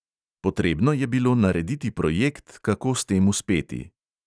Potrebno je bilo narediti projekt, kako s tem uspeti.